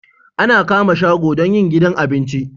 Ana kama shago don yin gidan abinci